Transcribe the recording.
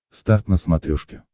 старт на смотрешке